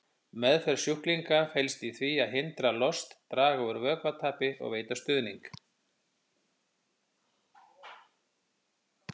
Meðferð sjúklinga felst í því að hindra lost, draga úr vökvatapi og veita stuðning.